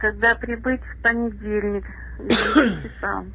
когда прибыть в понедельник к девяти часам